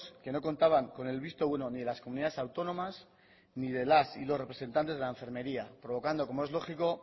que no contaban con el visto bueno ni de las comunidades autónomas ni de las y los representantes de la enfermaría provocando como es lógico